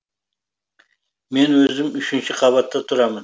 мен өзім үшінші қабатта тұрамын